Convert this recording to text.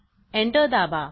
enter दाबा